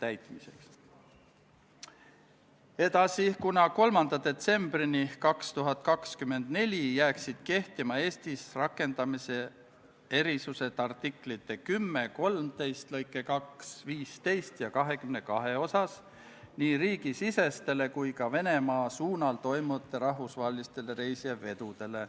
Kuues päevakorrapunkt on Vabariigi Valitsuse esitatud Riigikogu otsuse "Kaitseväe kasutamise tähtaja pikendamine Eesti riigi rahvusvaheliste kohustuste täitmisel konfliktijärgsel rahutagamismissioonil Liibanonis, Iisraelis, Egiptuses ja Süürias" eelnõu 67 teine lugemine.